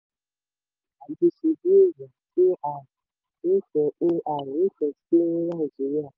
ajíṣebíèèyàn ai nífẹ́ ai nífẹ́ sí ní nàìjíríà.